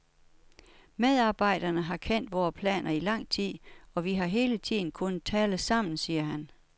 Medarbejderne har kendt vore planer i lang tid, og vi har hele tiden kunnet tale sammen, siger han.